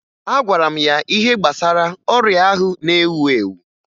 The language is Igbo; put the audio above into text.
Agwara m ya ihe gbasara ọrịa ahụ na-ewu ewu